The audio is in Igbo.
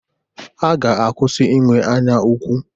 Ha ga-akwụsị inwe anyaukwu.